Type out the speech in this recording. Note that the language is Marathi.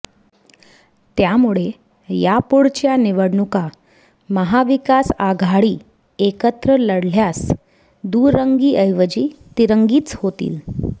त्यामुळे यापुढच्या निवडणुका महाविकास आघाडी एकत्र लढल्यास दुरंगीऐवजी तिरंगीच होतील